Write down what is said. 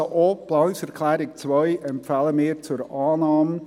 Also: Auch die Planungserklärung 2 empfehlen wir zur Annahme.